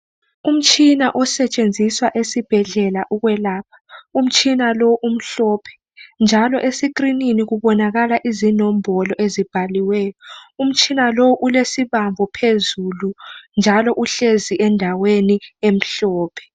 Umtshina osetshenziswa esibhedlela ukwelapha. Umtshina lo umhlophe njalo esikrinini kubonakala inombolo ezibhaliweyo. Umtshina lo ulesibambo phezulu njalo uhlezi endaweni emhlophe.